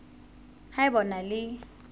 ha eba o na le